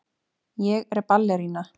Ég er ballerína.